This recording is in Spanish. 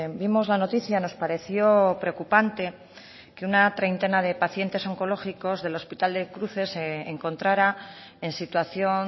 vimos la noticia nos pareció preocupante que una treintena de pacientes oncológicos del hospital de cruces se encontrara en situación